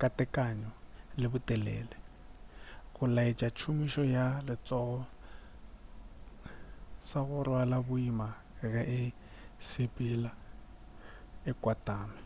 ka tekano le botelele go laetša tšhomišo ya letsogo sa go rwala boima ge e sepela e kwatame